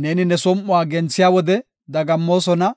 Neeni ne som7uwa genthiya wode dagammoosona;